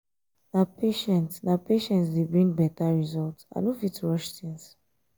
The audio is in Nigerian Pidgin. na patient na patient dey bring better result i no fit rush things.